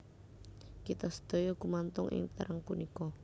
Kita sedaya gumantung ing terang punika